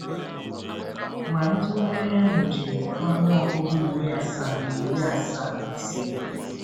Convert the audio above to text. Ma ntụgharị ahụ jiri ọnụọgụ iri asaa na iri asaa na ise.